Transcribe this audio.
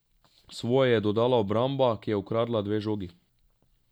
Svoje je dodala obramba, ki je ukradla dve žogi.